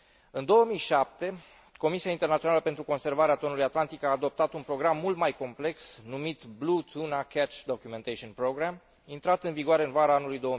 În 2007, Comisia Internațională pentru Conservarea Tonului din Oceanul Atlantic a adoptat un program mult mai complex, numit Blue Tuna Catch Documentation Programme, intrat în vigoare în vara anului